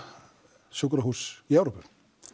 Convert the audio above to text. sjúkrahúss í Evrópu